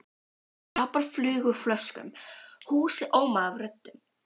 Tappar flugu úr flöskum, húsið ómaði af röddum.